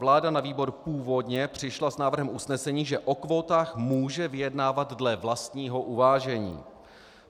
Vláda na výbor původně přišla s návrhem usnesení, že o kvótách může vyjednávat dle vlastního uvážení.